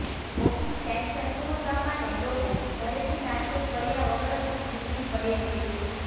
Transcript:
office ટાઇમસર પહોંચવા માટે લોકો ઘરેથી નાસ્તો કર્યા વગર જ નીકળી પડે છે